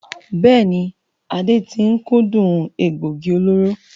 Bẹ́ẹ̀ni, Ade tí ń kúndùn egbògi olóró.